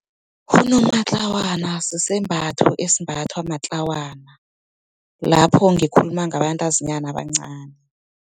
Unomatlawana, sisembatho esimbathwa matlawana, lapho ngikhuluma ngabantazinyana abancani.